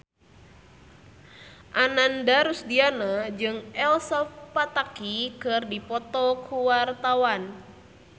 Ananda Rusdiana jeung Elsa Pataky keur dipoto ku wartawan